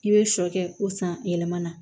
I bɛ sɔ kɛ ko san yɛlɛmana